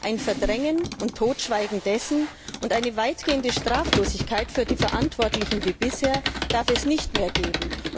Ein Verdrängen und Totschweigen dessen und eine weitgehende Straflosigkeit für die Verantwortlichen wie bisher darf es nicht mehr geben.